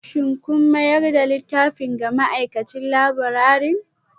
Shin kun mayar da littafin ga ma'aikacin laburare?